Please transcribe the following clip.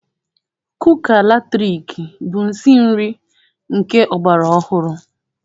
Kuka latrik bụ nsi nri nke ọgbara ọhụrụ.